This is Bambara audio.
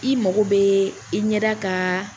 I mako be, i ɲɛda ka